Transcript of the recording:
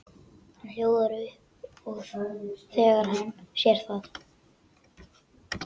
Hann hljóðar upp þegar hann sér það.